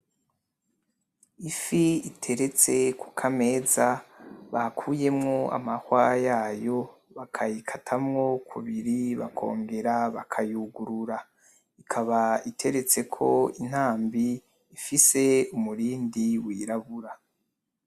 Ifi iteretse kukameza bakuyemwo amahwa yayo, bakayikatamwo kubiri bakongera bakayugurura. Ikaba iteretseko intambi ifise umurindi wirabura.